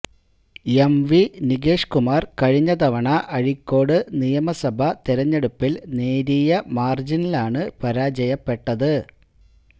M V Nikesh Kumar കഴിഞ്ഞ തവണ അഴീക്കോട് നിയമസഭാ തെരഞ്ഞെടുപ്പില് നേരിയ മാര്ജിനിലാണ് പരാജയപ്പെട്ടത്